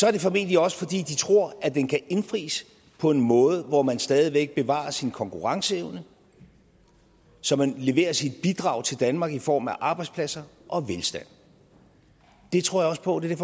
er det formentlig også fordi de tror at den kan indfries på en måde hvor man stadig væk bevarer sin konkurrenceevne så man leverer sit bidrag til danmark i form af arbejdspladser og velstand det tror jeg også på og det er